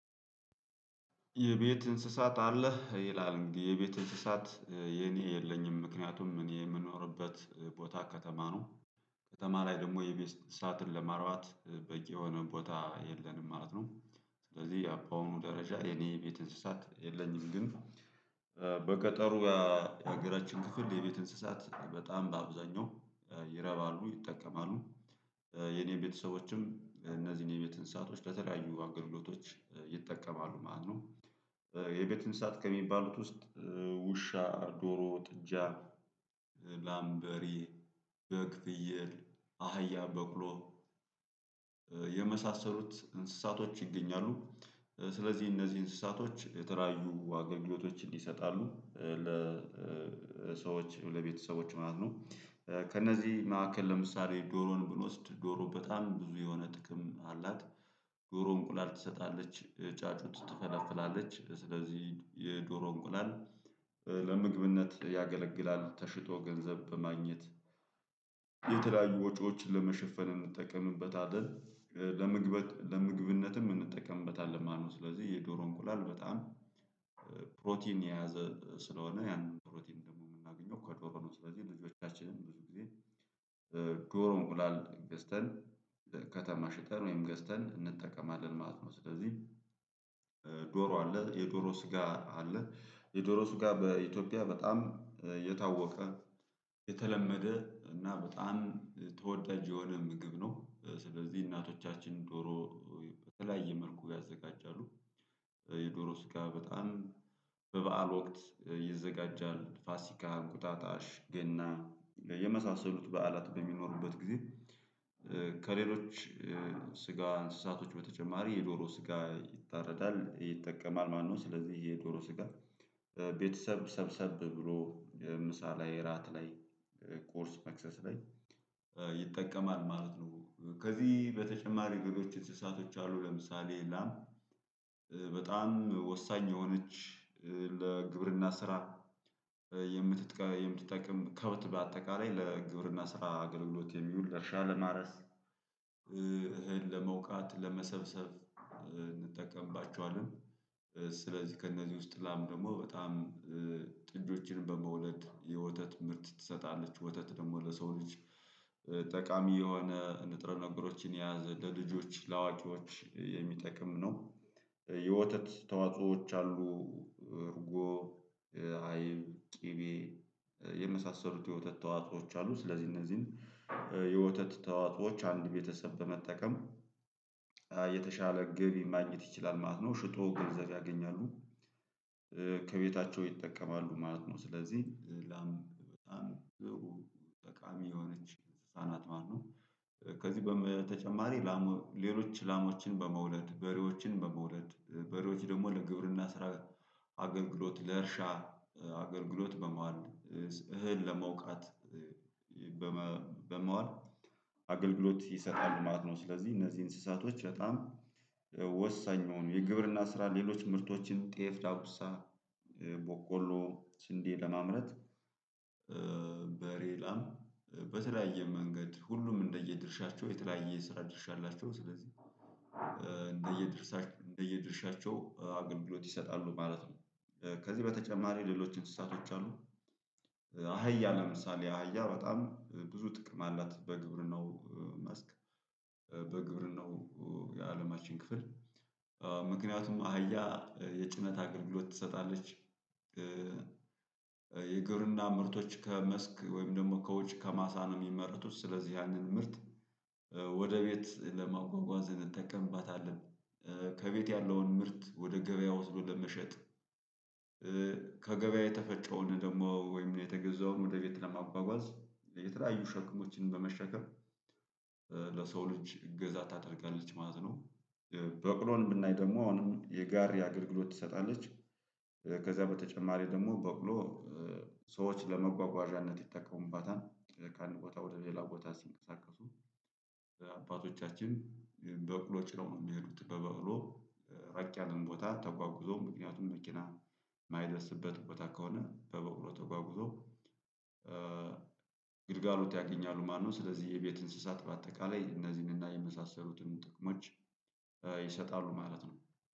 የቤት እንስሳት አለህ ይላል እንግዲህ የቤት እንስሳት የኔ የለኝም ምክንያቱም እኔ የምኖርበት ቦታ ከተማ ነው። ከተማ ላይ ደግሞ የቤት እንስሳትን ለማርባት በቂ የሆነ ቦታ የለንም ማለት ነው። ስለዚህ በአሁኑ ደረጃ የኔ ቤት እንስሳት የለኝም። ግን በገጠሩ የሀገራችን ክፍል የቤት እንስሳት በጣም በአብዛኛው ይረባሉ ይጠቀማሉ የኔ ቤተሰቦችም እነዚህን የቤት እንሳቶች በተለያዩ አገልግሎቶች ይጠቀማሉ ማለት ነው። የቤት እንስሳት ከሚባሉት ውስጥ ውሻ ዶሮ ጥጃ ላም በሬ በግ ፍየል አህያ በቅሎ የመሳሰሉት እንስሳቶች ይገኛሉ። ስለዚህ እነዚህ እንስሳቶች የተለያዩ አገልግሎቶችን ይሰጣሉ ለሰዎች ለቤተሰቦች ማለት ነው። ከእነዚህ ማዕከል ለምሳሌ ዶሮን ብንወስድ ዶሮ በጣም ብዙ የሆነ ጥቅም አላት። ዶሮ እንቁላል ትሰጣለች ጫጩት ትፈለፍላለች ስለዚህ የዶሮ እንቁላል ለምግብነት ያገለግላል ተሽጦ ገንዘብ በማግኘት የተለያዩ ወጪዎችን ለመሸፈን እንጠቀምበታለን። ለምግበት ለምግብነትም እንጠቀምበታለን ማለት ነው። ስለዚህ የዶሮ እንቁላል በጣም ፕሮቲን የያዘ ስለሆነ ያንን ፕሮቲን ደግሞ የምናገኘው ከዶሮ ነው። ስለዚህ ልጆቻችንን ብዙ ጊዜ ዶሮ እንቁላል ገዝተን ከተማ ሽጠን ወይም ገዝተን እንጠቀማለን ማለት ነው። ስለዚህ ዶሮ አለ የዶሮ ስጋ አለ የዶሮ ስጋ በኢትዮጵያ በጣም የታወቀ የተለመደ እና በጣም ተወዳጅ የሆነ ምግብ ነው። ስለዚህ እናቶቻችን ዶሮ በተለያየ መልኩ ያዘጋጃሉ። የዶሮ ስጋ በጣም በበዓል ወቅት ይዘጋጃል ፋሲካ እንቁጣጣሽ ገና የመሳሰሉት በዓላት በሚኖሩበት ጊዜ ከሌሎች ስጋ እንስሳቶች በተጨማሪ የዶሮ ስጋ ይታረዳል ይጠቀማል ማለት ነው። ስለዚህ የዶሮ ስጋ ቤተሰብ ሰብሰብ ብሎ ምሳ ላይ እራት ላይ ቁርስ መክሰስ ላይ ይጠቀማል ማለት ነው። ከዚህ በተጨማሪ ሌሎች እንስሳቶች አሉ። ለምሳሌ ላም በጣም ወሳኝ የሆነች ለግብርና ስራ የምት የምትጠቅም ከብት በአጠቃላይ ለግብርና ስራ አገልግሎት የሚውል እርሻ ለማረስ እህል ለመውቃት ለመሰብሰብ እንጠቀምባቸዋለን። ስለዚህ ከእነዚህ ውስጥ ላም ደግሞ በጣም ጥጆችንም በመውለድ የወተት ምርት ትሰጣለች ወተት ደግሞ ለሰው ልጅ ጠቃሚ የሆነ ንጥረ ነገሮችን የያዘ ለልጆች ለአዋቂዎች የሚጠቅም ነው። የወተት ተዋጽኦዎች አሉ እርጎ አይብ ቅቤ የመሳሰሉት የወተት ተዋጾዎች አሉ። ስለዚህ እነዚህን የወተት ተዋጾዎች አንድ ቤተሰብ በመጠቀም የተሻለ ገቢ ማግኝት ይችላል ማለት ነው። ሽጦ ገንዘብ ያገኛሉ ከቤታቸው ይጠቀማሉ ማለት ነው። ስለዚህ ላም በጣም ጥሩ ጠቃሚ የሆነች እንስሳ ናት ማለት ነው። ከዚህ በተጨማሪ ላሞ ሌሎች ላሞችን በመውለድ በሬዎችን በመውለድ በሬዎች ደግሞ ለግብርና ስራ አገልግሎት ለእርሻ አገልግሎት በመዋል እህል ለመውቃት በመዋል አገልግሎት ይሰጣሉ ማለት ነው። ስለዚህ እነዚህ እንስሳቶች በጣም ወሳኝ የሆኑ የግብርና ስራ ሌሎች ምርቶችን ጤፍ ዳጉሳ በቆሎ ስንዴ ለማምረት በሬ ላም በተለያየ መንገድ ሁሉም እንደየ ድርሻቸው የተለያየ የስራ ድርሻ አላቸው ስለዚህ እንደየ ድርሻቸው አገልግሎት ይሰጣሉ ማለት ነው። ከዚህ በተጨማሪ ሌሎች እንስሳቶች አሉ። አህያ ለምሳሌ አህያ በጣም ብዙ ጥቅም አላት በግብርናው መስክ በግብርናው የአለማችን ክፍል ምክንያቱም አህያ የጭነት አገልግሎት ትሰጣለች። የግብርና ምርቶች ከመስክ ወይም ደግሞ ከውጭ ከማሳ ነው የሚመረቱት ስለዚህ ያንን ምርት ወደ ቤት ለማጓጓዝ እንጠቀምባታለን። ከቤት ያለውን ምርት ወደ ገበያ ወስዶ ለመሸጥ ከገበያ የተፈጨውን ደግሞ ወይም የተገዛውን ወደ ቤት ለማጓጓዝ የተለያዩ ሸክሞችን በመሸከም ሸክሞች እገዛ ታደርጋለች ማለት ነው። በቅሎን ብናይ ደግሞ አሁንም የጋሪ አገልግሎት ትሰጣለች። ከዛ በተጨማሪ ደግሞ በቅሎ ሰዎች ለመጓጓዣነት ይጠቀሙባታል ከአንድ ቦታ ወደ ሌላ ቦታ ሲንቀሳቀሱ አባቶቻችን በቅሎ ጭነው ነው የሚሄዱት በበቅሎ ራቅ ያለን ቦታ ተጓጉዞ ምክንያቱም መኪና የማይደርስበት ቦታ ከሆነ በበቅሎ ተጓጉዞ ግልጋሎት ያገኛሉ ማለት ነው። ስለዚህ የቤት እንስሳት በአጠቃላይ እነዚህንና የመሳሰሉትን ጥቅሞች ይሰጣሉ ማለት ነው